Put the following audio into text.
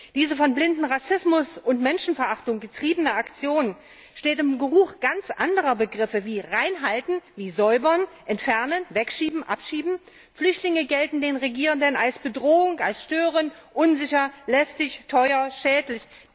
Diese von blindem Rassismus und Menschenverachtung getriebene Aktion steht im Geruch ganz anderer Begriffe wie reinhalten, säubern, entfernen, wegschieben, abschieben. Flüchtlinge gelten den Regierenden als Bedrohung, als störend, unsicher, lästig, teuer, schädlich.